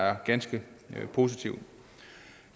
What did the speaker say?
er ganske positivt